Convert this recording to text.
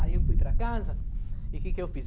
Aí eu fui para casa, e que que eu fiz?